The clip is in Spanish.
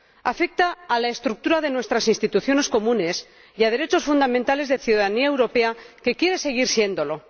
Afecta a la estructura de nuestras instituciones comunes y a derechos fundamentales de la ciudadanía europea, que quiere seguir siéndolo.